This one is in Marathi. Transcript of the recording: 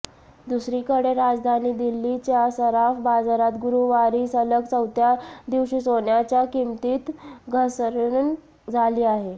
दुसरीकडे राजधानी दिल्लीच्या सराफ बाजारात गुरूवारी सलग चौथ्या दिवशी सोन्याच्या किमतीत घसरण झाली आहे